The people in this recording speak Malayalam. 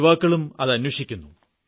യുവാക്കളും അത് അന്വേഷിക്കുന്നു